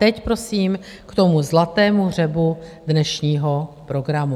Teď prosím k tomu zlatému hřebu dnešního programu.